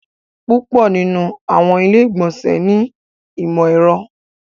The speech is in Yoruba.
Púpọ̀ nínu àwọn ilẹ̀-ìgbọ̀nsẹ̀ ni ọmọ èrò.